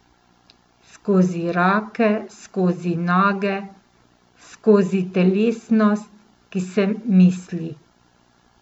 Skozi roke, skozi noge, skozi telesnost, ki se misli.